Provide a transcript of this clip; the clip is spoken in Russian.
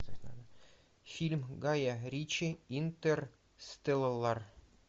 фильм гая ричи интерстеллар